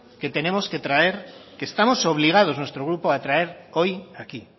que tenemos que traer que estamos obligados nuestro grupo a traer hoy aquí